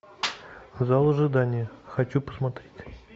зал ожидания хочу посмотреть